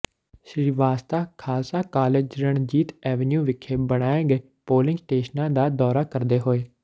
Srivastava Khalsa college Ranjit avenue ਵਿਖੇ ਬਣਾਏ ਗਏ ਪੋਲਿੰਗ ਸਟੇਸ਼ਨਾਂ ਦਾ ਦੌਰਾ ਕਰਦੇ ਹੋਏ